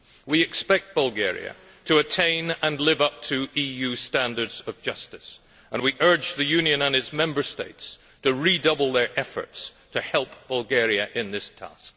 We expect Bulgaria to attain and live up to EU standards of justice, and we urge the Union and its Member States to redouble their efforts to help Bulgaria in this task.